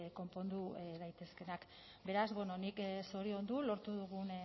konpondu daitezkeenak beraz nik zoriondu lortu dugun